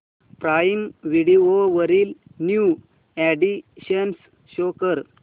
prime Video वरील new additions show कर